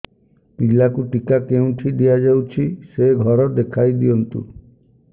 ପିଲାକୁ ଟିକା କେଉଁଠି ଦିଆଯାଉଛି ସେ ଘର ଦେଖାଇ ଦିଅନ୍ତୁ